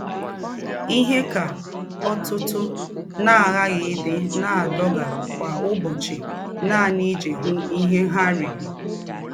Íhe ka ọ̀tùtù àghàghí ídị́ ná-àdógà kwá ụ̀bọ́chì nànì íjí hụ́ íhe ha rìrí.